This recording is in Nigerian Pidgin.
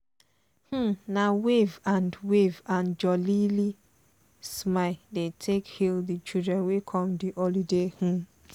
um na wave and wave and jooly smile dey take hal di children wey come di holiday um gbedu.